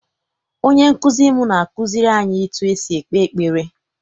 Onye nkụzi m na-akụziri anyị etu esi ekpe ekpere.